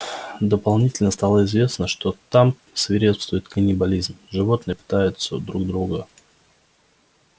доподлинно стало известно что там свирепствует каннибализм животные пытаются друг друга